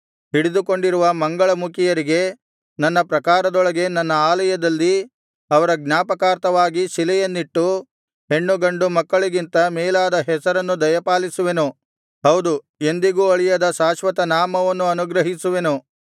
ಹಿಡಿದುಕೊಂಡಿರುವ ಮಂಗಳಮುಖಿಯರಿಗೆ ನನ್ನ ಪ್ರಾಕಾರಗಳೊಳಗೆ ನನ್ನ ಆಲಯದಲ್ಲಿ ಅವರ ಜ್ಞಾಪಕಾರ್ಥವಾಗಿ ಶಿಲೆಯನ್ನಿಟ್ಟು ಹೆಣ್ಣುಗಂಡು ಮಕ್ಕಳಿಗಿಂತ ಮೇಲಾದ ಹೆಸರನ್ನು ದಯಪಾಲಿಸುವೆನು ಹೌದು ಎಂದಿಗೂ ಅಳಿಯದ ಶಾಶ್ವತನಾಮವನ್ನು ಅನುಗ್ರಹಿಸುವೆನು